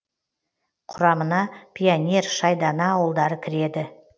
құрамына пионер шайдана ауылдары кіреді